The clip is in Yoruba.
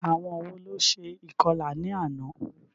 Àwọn wo ló ṣe ìkọlà ní àná?